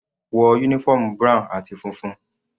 Wọ uniform brown àti funfun.